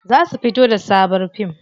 Za su fito da sabon fim.